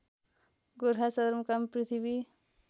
गोरखा सदरमुकाम पृथ्वी